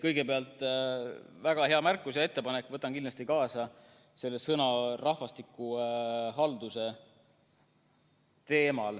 Kõigepealt, väga hea märkus ja ettepanek selle sõna "rahvastikuhaldus" teemal, võtan selle siit kindlasti kaasa.